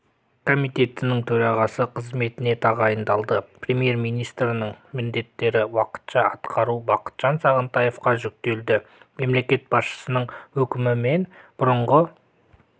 комитетінің төрағасы қызметіне тағайындалды премьер-министрінің міндеттерін уақытша атқару бақытжан сағынтаевқа жүктелді мемлекет басшысының өкімімен бұрынғы